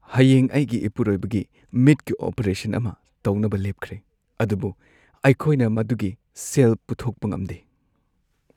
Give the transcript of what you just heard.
ꯍꯌꯦꯡ ꯑꯩꯒꯤ ꯏꯄꯨꯔꯣꯏꯕꯒꯤ ꯃꯤꯠꯀꯤ ꯑꯣꯄꯔꯦꯁꯟ ꯑꯃ ꯇꯧꯅꯕ ꯂꯦꯞꯈ꯭ꯔꯦ ꯑꯗꯨꯕꯨ ꯑꯩꯈꯣꯏꯅ ꯃꯗꯨꯒꯤ ꯁꯦꯜ ꯄꯨꯊꯣꯛꯄ ꯉꯝꯗꯦ꯫